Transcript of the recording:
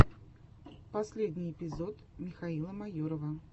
последний эпизод михаила майорова